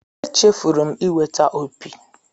Echefuru m iweta opi.